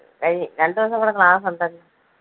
കഴിഞ്ഞ് രണ്ട് ദിവസം കൂടെ class ഉണ്ടല്ലോ.